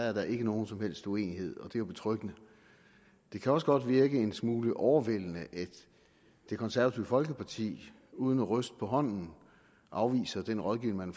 er nogen som helst uenighed og det jo betryggende det kan også godt virke en smule overvældende at det konservative folkeparti uden at ryste på hånden afviser den rådgivning